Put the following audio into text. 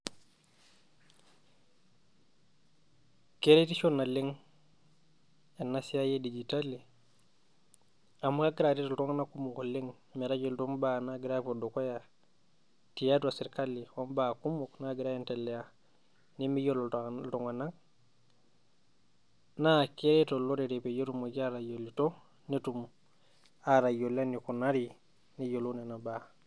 Keretisho naleng' ena siai edigitali, amu egiira aret iltung'anak oleng' metayiolito ibaa naagira aapuo dukuya tiatua sirkali obaa kumok naagira aendelea nemeyiolo iltung'anak naa keret olorere pee etumoki aatayioloito peetum atayiolo enekunari netayioloito Nena baa.